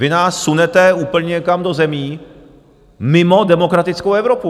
Vy nás sunete úplně někam do zemí mimo demokratickou Evropu!